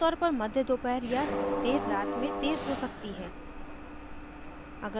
आमतौर पर मध्य दोपहर या देर रात में तेज़ हो सकती है